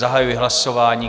Zahajuji hlasování.